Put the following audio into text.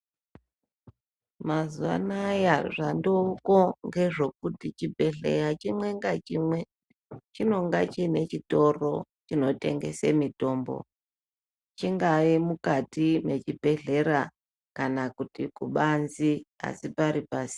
Mazuwa anaya zvandooko ngezvekuti chibhedhleya chimwe ngachimwe chinonga chine chitoro chinotengese mitombo. Chingaye mukati mechibhedhlera kana kuti kubanze asi pari pasi..